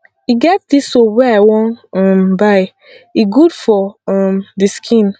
e get dis soap wey i wan um buy e good for um the skin